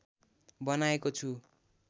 बनाएको छु